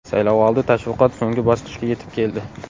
Saylovoldi tashviqot so‘nggi bosqichga yetib keldi.